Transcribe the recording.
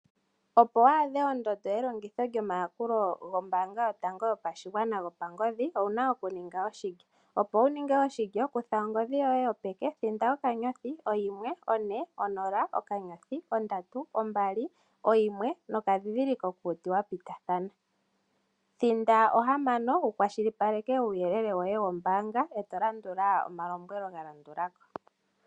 Opo waadhe ondondo yelongitho lyomayakula gombaanga yotango yopashigwana gopangodhi, owu na oku ninga oshilyo. Opo wuninge oshilyo kutha ongodhi yoye yopeke thinda *140*321#. Thinda 6 wu kwashilipaleke uuyelele woye wombaanga ee to landula omalombwelo galandula ko.